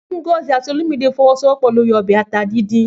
Ngozi àti Olumide fọwọ́sowọ́pọ̀ lórí ọbẹ̀ ata dídùn.